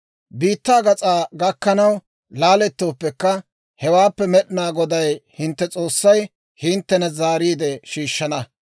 Biittaa gas'aa gakkanaw laalettooppekka, hewaappe Med'inaa Goday hintte S'oossay hinttena zaariide shiishshana.